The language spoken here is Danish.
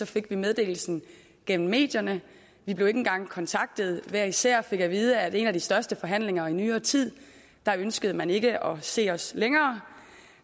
fik meddelelsen gennem medierne vi blev ikke engang kontaktet hver især fik vi at vide at i en af de største forhandlinger i nyere tid ønskede man ikke længere at se os